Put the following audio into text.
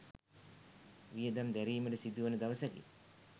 වියදම් දැරීමට සිදුවන දවසකි.